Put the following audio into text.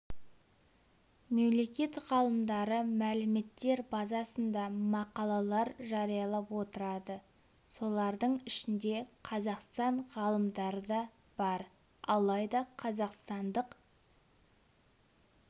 мемлекет ғалымдары мәліметтер базасында мақалалар жариялап отырады солардың ішінде қазақстан ғалымдары да бар алайда қазақстандық